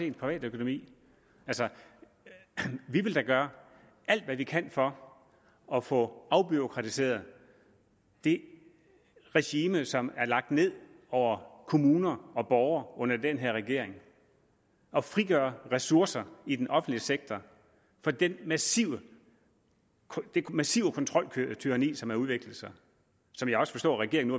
ens privatøkonomi altså vi vil da gøre alt hvad vi kan for at få afbureaukratiseret det regime som er lagt ned over kommuner og borgere under den her regering og frigøre ressourcer i den offentlige sektor fra det massive massive kontroltyranni som har udviklet sig og som jeg også forstår at regeringen